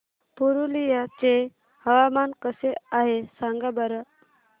पुरुलिया चे हवामान कसे आहे सांगा बरं